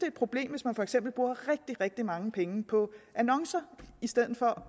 et problem hvis man for eksempel bruger rigtig rigtig mange penge på annoncer i stedet for